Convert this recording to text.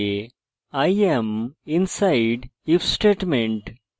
i am inside if statement